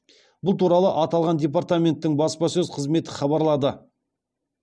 бұл туралы аталған департаменттің баспасөз қызметі хабарлады